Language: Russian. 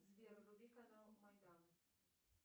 сбер вруби канал майдан